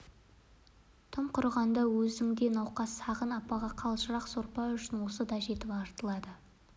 тым құрығанда өзінде науқас сағын апаға қалжырақ сорпа үшін осы да жетіп артылады